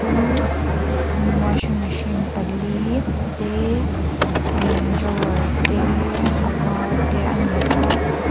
chu mm washing machine pali te ee drawer te a var te ani a.